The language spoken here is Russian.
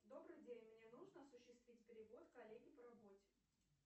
добрый день мне нужно осуществить перевод коллеге по работе